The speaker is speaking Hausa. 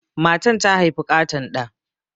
Matan ta haifi ƙaton ɗa.